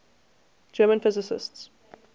german physicists